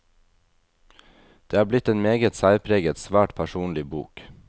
Det er blitt en meget særpreget, svært personlig bok.